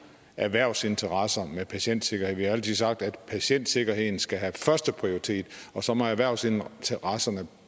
erhvervsinteresser med patientsikkerhed vi har altid sagt at patientsikkerheden skal have førsteprioritet og så må erhvervsinteresserne